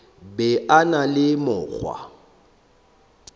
be a na le mokgwa